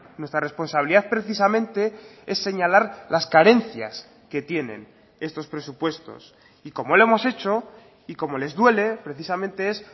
nuestra responsabilidad precisamente es señalar las carencias que tienen estos presupuestos y como lo hemos hecho y como les duele precisamente es